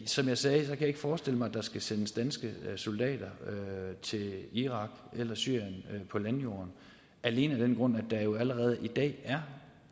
som jeg sagde kan jeg ikke forestille mig at der skal sendes danske soldater til irak eller syrien på landjorden alene af den grund at der jo allerede i dag er